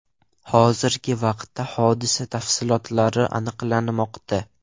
Hozirgi vaqtda hodisa tafsilotlari aniqlanmoqda.